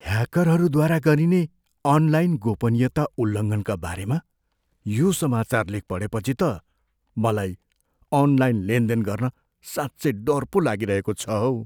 ह्याकरहरूद्वारा गरिने अनलाइन गोपनीयता उल्लङ्घनका बारेमा यो समाचार लेख पढेपछि त मलाई अनलाइन लेनदेन गर्न साँच्चै डर पो लागिरहेको छ हौ।